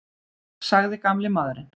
sagði gamli maðurinn.